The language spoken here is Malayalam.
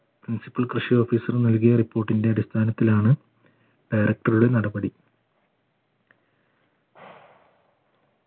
കൃഷി officer നൽകിയ report ന്റെ അടിസ്ഥാനത്തിലാണ് നടപടി